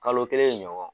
Kalo kelen ɲɔgɔn